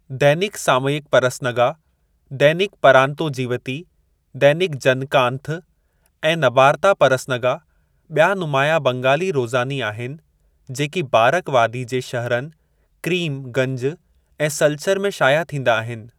दैनिक सामयिक परसनगा, दैनिक परांतोजीवती, दैनिक जनकांथ ऐं नबारता परसनगा ॿिया नुमायां बंगाली रोज़ानी आहिनि जेकी बारक वादी जे शहरनि क्रीम गंज ऐं सलचर में शाया थींदा आहिनि।